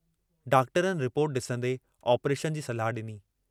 डॉक्टरनि रिपोर्ट डिसंदे आपरेशन जी सलाह डिनी।